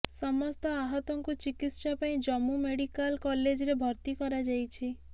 ସମସ୍ତ ଆହତଙ୍କୁ ଚିକିତ୍ସା ପାଇଁ ଜମ୍ମୁ ମେଡିକାଲ କଲେଜରେ ଭର୍ତ୍ତି କରାଯାଇଛି